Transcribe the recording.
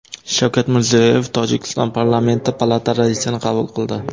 Shavkat Mirziyoyev Tojikiston parlamenti palata raisini qabul qildi .